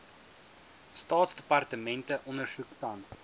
staatsdepartemente ondersoek tans